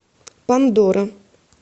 пандора